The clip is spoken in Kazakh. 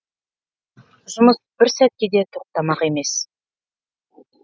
жұмыс бір сәтке де тоқтамақ емес